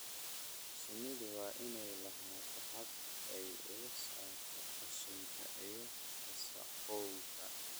Shinnidu waa inay lahaataa habab ay uga saarto qashinka iyo wasakhowga.